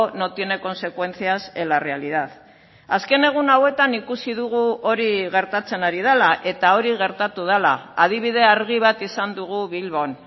no tiene consecuencias en la realidad azken egun hauetan ikusi dugu hori gertatzen ari dela eta hori gertatu dela adibide argi bat izan dugu bilbon